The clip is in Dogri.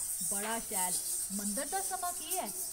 बड़ा शैल, मंदर दा समां केह् ऐ?